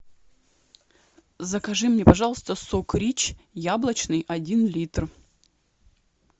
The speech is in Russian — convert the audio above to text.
закажи мне пожалуйста сок рич яблочный один литр